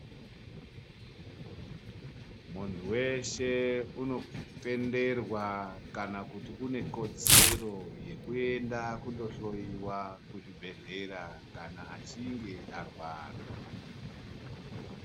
Muntu veshe unotenderwa kana kuti unekodzero yekuenda kundohloiwa kuzvibhedhlera kana achinge arwara.